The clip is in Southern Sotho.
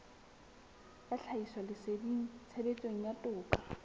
ya tlhahisoleseding tshebetsong ya toka